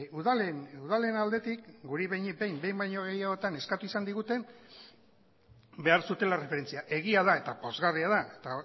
udalen udalen aldetik guri behinik behin behin baino gehiagotan eskatu izan digute behar zutela erreferentzia egia da eta pozgarria da eta